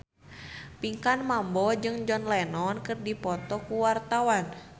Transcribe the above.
Pinkan Mambo jeung John Lennon keur dipoto ku wartawan